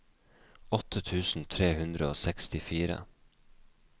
åtte tusen tre hundre og sekstifire